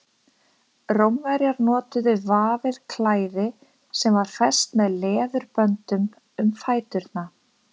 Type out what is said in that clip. rómverjar notuðu vafið klæði sem var fest með leðurböndum um fæturna